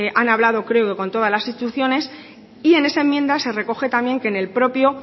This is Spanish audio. han hablado creo que con todas las instituciones y en esa enmienda se recoge también que en el propio